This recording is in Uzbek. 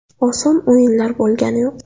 Oson o‘yinlar bo‘lgani yo‘q.